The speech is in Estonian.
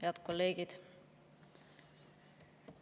Head kolleegid!